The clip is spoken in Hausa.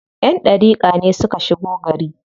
Ƴan ɗariƙa ne suka shigo gari.